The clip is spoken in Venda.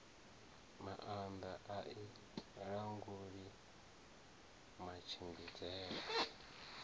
maanda a i languli matshimbidzele